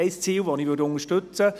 Ein Ziel würde ich unterstützen.